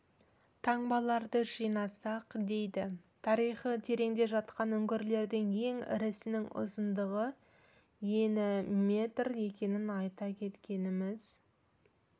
таңбаларды жинасақ дейді тарихы тереңде жатқан үңгірлердің ең ірісінің ұзындығы ені метр екенін айта кеткеніміз